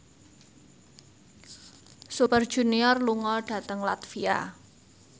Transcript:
Super Junior lunga dhateng latvia